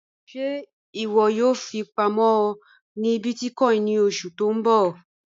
Ṣẹ́ iwọ yóò fi owo pàmọ́ ni bíìtìkòìn ni ọṣu ti n bọ?